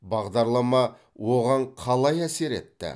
бағдарлама оған қалай әсер етті